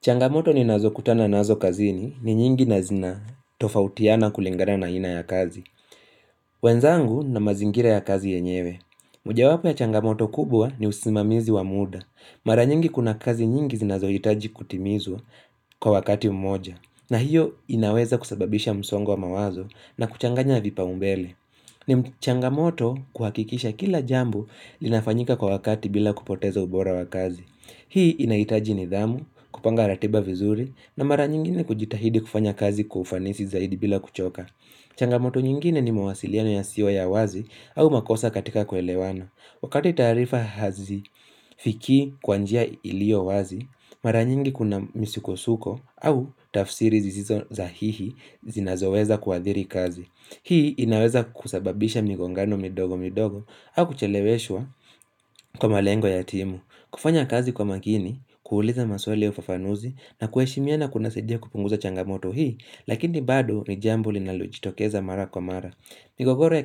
Changamoto ninazo kutana nazo kazini ni nyingi na zina tofautiana kulingana na aina ya kazi. Wenzangu na mazingira ya kazi yenyewe. Mojawapo ya changamoto kubwa ni usimamizi wa muda. Mara nyingi kuna kazi nyingi zinazo hitaji kutimizwa kwa wakati mmoja. Na hiyo inaweza kusababisha msongo wa mawazo na kuchanganya vipa umbele. Ni changamoto kuhakikisha kila jambo linafanyika kwa wakati bila kupoteza ubora wa kazi. Hii inaitaji nidhamu, kupanga ratiba vizuri na mara nyingine kujitahidi kufanya kazi kufanisi zaidi bila kuchoka. Changamoto nyingine ni mwasiliano yasiyo ya wazi au makosa katika kuelewana. Wakati taarifa hazi fikii kwa njia ilio wazi, mara nyingi kuna misikosuko au tafsiri zisizo zahihi zinazoweza kuadhiri kazi. Hii inaweza kusababisha migongano midogo midogo au kucheleweshwa kwa malengo ya timu. Kufanya kazi kwa makini, kuuliza maswali ya ufafanuzi, na kuheshimiana kunasidia kupunguza changamoto hii, lakini bado ni jambo linalo jitokeza mara kwa mara. Migogoro ya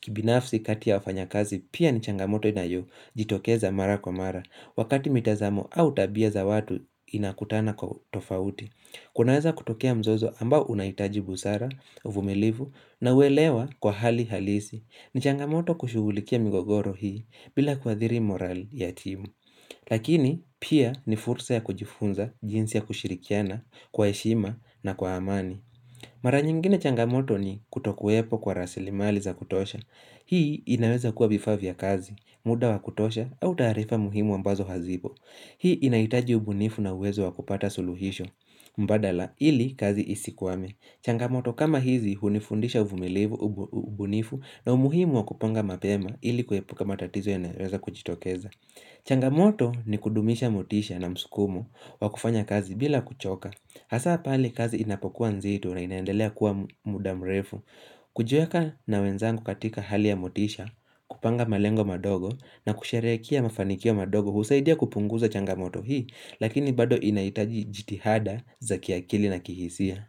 kibinafsi katia ufanya kazi pia ni changamoto inayo jitokeza mara kwa mara, wakati mitazamo au tabia za watu inakutana kwa tofauti. Kunaweza kutokia mzozo ambao unahitaji busara, uvumilivu na uwelewa kwa hali halisi. Ni changamoto kushugulikia mgogoro hii bila kuathiri moral ya timu. Lakini pia ni fursa ya kujifunza, jinsi ya kushirikiana, kwa heshima na kwa amani. Mara nyingine changamoto ni kutokuwepo kwa rasilimali za kutosha. Hii inaweza kuwa vifaa vya kazi, muda wa kutosha au taarifa muhimu ambazo hazipo. Hii inaitaji ubunifu na uwezo wa kupata suluhisho mbadala ili kazi isikwame. Changamoto kama hizi hunifundisha ubunifu na umuhimu wa kupanga mapema ili kuepuka matatizo yanayoweza kujitokeza. Changamoto ni kudumisha motisha na msukumo wa kufanya kazi bila kuchoka Hasa pale kazi inapokuwa nzito na inaendelea kuwa mudamrefu kujiweka na wenzangu katika hali ya motisha, kupanga malengo madogo na kusharehekea mafanikio madogo husaidia kupunguza changamoto hii lakini bado inaitaji jitihada za kiakili na kihisia.